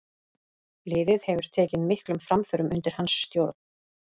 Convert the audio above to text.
Liðið hefur tekið miklum framförum undir hans stjórn.